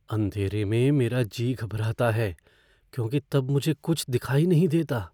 अँधेरे में मेरा जी घबराता है क्योंकि तब मुझे कुछ दिखाई नहीं देता।